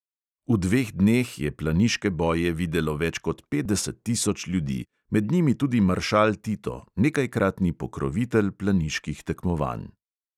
V dveh dneh je planiške boje videlo več kot petdeset tisoč ljudi, med njimi tudi maršal tito, nekajkratni pokrovitelj planiških tekmovanj.